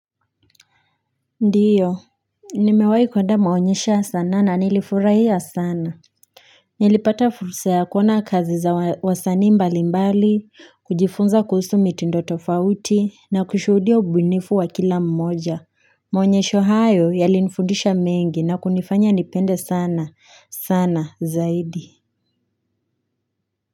Ndiyo nimewahi kwenda maonyesho ya sanaa na nilifurahia sana nilipata fursa kuona kazi za wasani mbali mbali kujifunza kuhusu mitindo tofauti na kushuhudia ubunifu wa kila mmoja maonyesho hayo yalinifundisha mengi na kunifanya nipende sana sana zaidi.